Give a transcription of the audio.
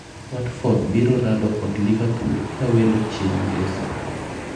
Watford biro rado kod Liverpool kawelo chieng' ngeso.